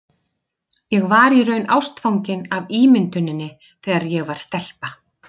Ég var í raun ástfangin af ímynduninni þegar ég var stelpa.